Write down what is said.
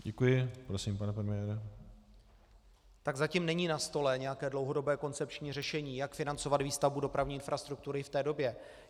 Tak zatím není na stole nějaké dlouhodobé koncepční řešení, jak financovat výstavbu dopravní infrastruktury v té době.